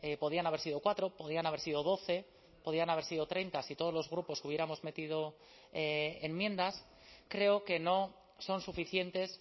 podían haber sido cuatro podían haber sido doce podían haber sido treinta si todos los grupos hubiéramos metido enmiendas creo que no son suficientes